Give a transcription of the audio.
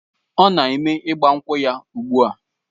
Ọ na-eme ịgbankwu ya ugbu a